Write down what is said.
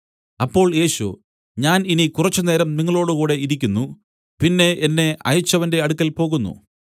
അപ്പോൾ യേശു ഞാൻ ഇനി കുറച്ചുനേരം നിങ്ങളോടുകൂടെ ഇരിക്കുന്നു പിന്നെ എന്നെ അയച്ചവന്റെ അടുക്കൽ പോകുന്നു